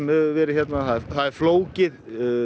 hefur verið hérna er flókið